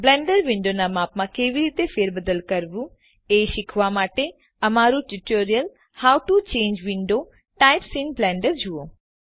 Blender વિન્ડોનું માપ કેવી રીતે બદલવું તે શીખવા માટે how to change window types in Blender તે ઉપરનું ટ્યુટોરીયલ જુઓ